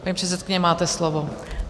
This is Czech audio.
Paní předsedkyně, máte slovo.